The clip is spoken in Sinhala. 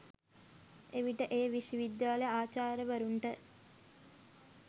එවිට එය විශ්වවිද්‍යාල ආචාර්යවරුන්ට